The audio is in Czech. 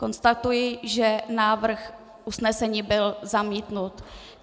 Konstatuji, že návrh usnesení byl zamítnut.